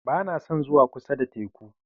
Ba na son zuwa kusa da teku.